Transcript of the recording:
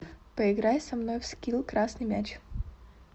поиграй со мной в скилл красный мяч